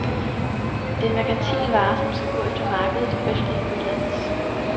Det er en merkantil vare, som skal gå efter markedet og efterligne udlandets.